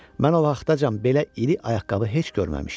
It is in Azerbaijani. Mən o vaxtacan belə iri ayaqqabı heç görməmişdim.